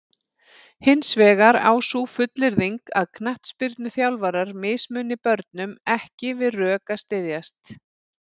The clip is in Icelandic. Hins vegar á sú fullyrðing að knattspyrnuþjálfarar mismuni börnum ekki við rök að styðjast.